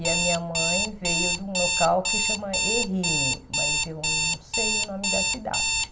E a minha mãe veio de um local que se chama Ehime, mas eu não sei o nome da cidade.